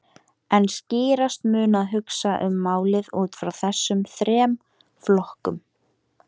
En skýrast mun að hugsa um málið út frá þessum þremur flokkum.